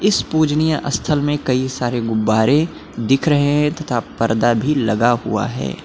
इस पूजनीय स्थल में कई सारे गुब्बारे दिख रहे हैं तथा पर्दा भी लगा हुआ है।